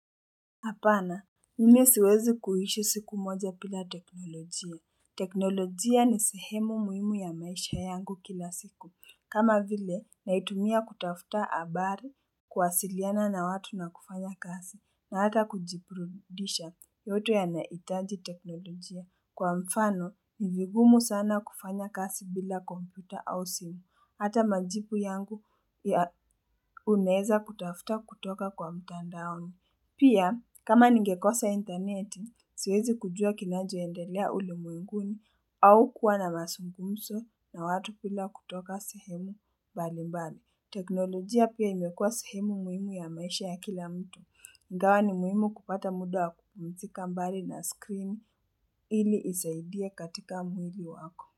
Apana, mimi siwezi kuishi siku moja bila teknolojia. Teknolojia ni sehemu muhimu ya maisha yangu kila siku. Kama vile, naitumia kutafuta habari kuwasiliana na watu na kufanya kazi. Na hata kujiburudisha yote yanahitaji teknolojia. Kwa mfano, ni vigumu sana kufanya kazi bila komputa au simu. Hata majibu yangu ya unaeza kutafuta kutoka kwa mtandaoni. Pia, kama ningekosa intaneti, siwezi kujua kinachoendelea ule mwinguni au kuwa na mazungumzo na watu bila kutoka sehemu mbalimbali. Teknolojia pia imekuwa sehemu muhimu ya maisha ya kila mtu. Ingawa ni muhimu kupata muda kupumzika mbali na screen ili isaidie katika mwili wako.